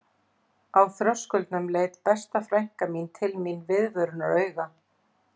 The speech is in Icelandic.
Á þröskuldinum leit besta frænka til mín viðvörunarauga